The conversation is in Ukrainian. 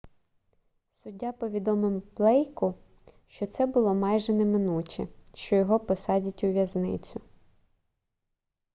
суддя повідомив блейку що це було майже неминуче що його посадять у в'язницю